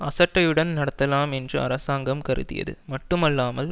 அசட்டையுடன் நடத்தலாம் என்று அரசாங்கம் கருதியது மட்டுமல்லாமல்